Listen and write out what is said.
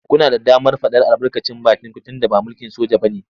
Kuna da damar faɗar albarkacin bakinku tunda ba mulkin soja ba ne.